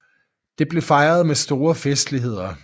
Det blev fejret med store festligheder